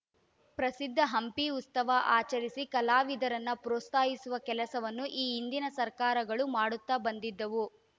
ಪ್ರಸಿದ್ಧ ಹಂಪಿ ಉಸ್ತವ ಆಚರಿಸಿ ಕಲಾವಿದರನ್ನು ಪ್ರೋತ್ಸಾಹಿಸುವ ಕೆಲಸವನ್ನು ಈ ಹಿಂದಿನ ಸರ್ಕಾರಗಳು ಮಾಡುತ್ತಾ ಬಂದಿದ್ದವು